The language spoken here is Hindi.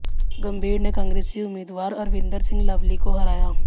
गंभीर ने कांग्रेसी उम्मीदवार अरविंदर सिंह लवली को हराया